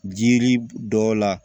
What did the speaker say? Jiri dɔ la